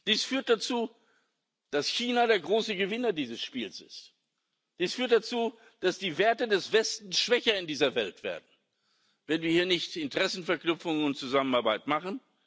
Das führt dazu, dass China der große Gewinner dieses Spiels ist. Das führt dazu, dass die Werte des Westens in dieser Welt schwächer werden, wenn wir hier nicht Interessenverknüpfungen und Zusammenarbeit machen.